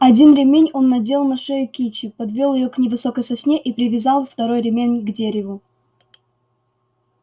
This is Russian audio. один ремень он надел на шею кичи подвёл её к невысокой сосне и привязал второй ремень к дереву